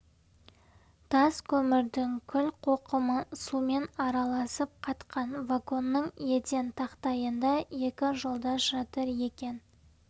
тас көмірдің күл-қоқымы сумен араласып қатқан вагонның еден тақтайында екі жолдас жатыр екен